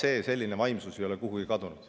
Ega selline vaimsus ei ole kuhugi kadunud.